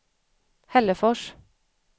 Hällefors